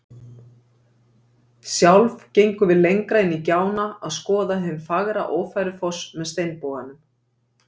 Sjálf gengum við lengra inn í gjána að skoða hinn fagra Ófærufoss með steinboganum.